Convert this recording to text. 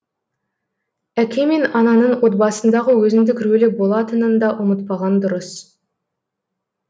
әке мен ананың отбасындағы өзіндік рөлі болатынын да ұмытпаған дұрыс